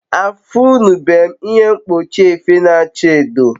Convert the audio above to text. afunube m ihe mkpochi efe na acha edo